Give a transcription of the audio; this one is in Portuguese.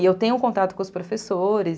E eu tenho contato com os professores.